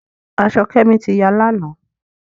Aṣọ Kemi tí yá lànà.